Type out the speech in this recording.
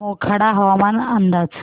मोखाडा हवामान अंदाज